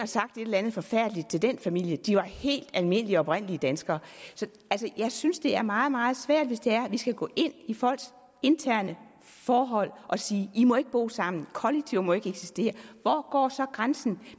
sagt et eller andet forfærdeligt til den familie de var helt almindelige oprindelige danskere jeg synes det er meget meget svært hvis vi skal gå ind i folks interne forhold og sige i må ikke bo sammen kollektiver må ikke eksistere hvor går så grænsen